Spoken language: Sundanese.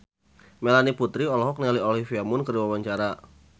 Melanie Putri olohok ningali Olivia Munn keur diwawancara